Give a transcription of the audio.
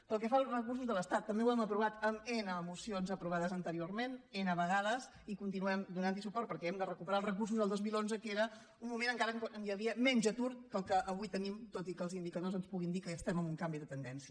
pel que fa als recursos de l’estat també ho hem aprovat en ena mocions aprovades anteriorment ena vegades i continuem donant hi suport perquè hem de recuperar els recursos del dos mil onze que era un moment encara on hi havia menys atur que el que avui tenim tot i que els indicadors ens puguin dir que estem en un canvi de tendència